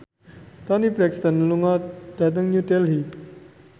Toni Brexton lunga dhateng New Delhi